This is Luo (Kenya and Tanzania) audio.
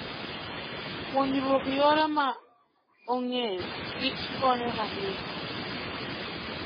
Puonjruok yore ma ong'eyo kich konyo ahinya.